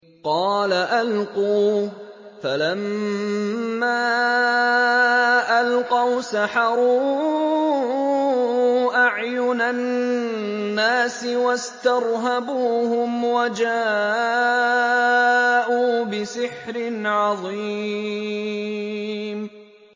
قَالَ أَلْقُوا ۖ فَلَمَّا أَلْقَوْا سَحَرُوا أَعْيُنَ النَّاسِ وَاسْتَرْهَبُوهُمْ وَجَاءُوا بِسِحْرٍ عَظِيمٍ